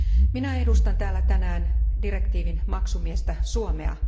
Minä edustan täällä tänään direktiivin maksumiestä Suomea.